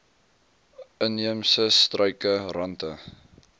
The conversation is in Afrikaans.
inheemse struike rante